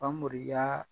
Famori yaa